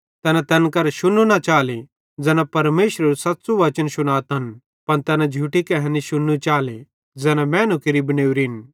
तैना तैन करां शुन्नू न चाले ज़ैना परमेशरेरू सच़्च़ू वचन शुनातन पन तैना झूठी कहैनी शुन्नी चाले ज़ैना मैनू केरि बनेवरिन